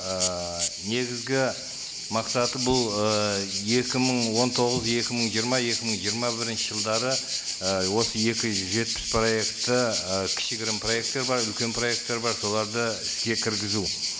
ыыы негізгі мақсаты бұл ы екі мың он тоғыз екі мың жиырма екі мың жиырма бірінші жылдары і осы екі жүз жетпіс проектті і кішігірім проекттер бар үлкен проекттер бар соларды іске кіргізу